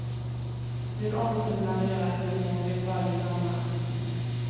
Hur omtumlande det är att bli mor vet varje mamma.